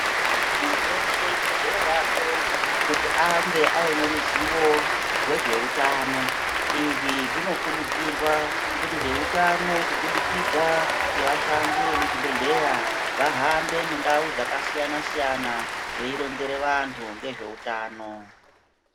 Munhu weshe ukodzero yake kuti ange aneruzivo rezveutano, izvi zvinokurudzirwa kuti veutano kubudikidza ngevashandi vemuzvibhehleya vahambe mundau dzakasiyana-siyana veironzera vanhu ngezveutano.